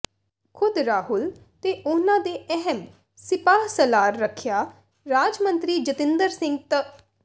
ਖ਼ੁਦ ਰਾਹੁਲ ਤੇ ਉਨ੍ਹਾਂ ਦੇ ਦੋ ਅਹਿਮ ਸਿਪਾਹਸਲਾਰ ਰੱਖਿਆ ਰਾਜ ਮੰਤਰੀ ਜਤਿੰਦਰ ਸਿੰਘ ਤ